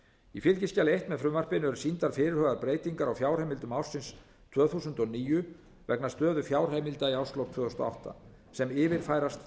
í fylgiskjali eins með frumvarpinu eru sýndar fyrirhugaðar breytingar á fjárheimildum ársins tvö þúsund og níu vegna stöðu fjárheimilda í árslok tvö þúsund og átta sem yfirfærast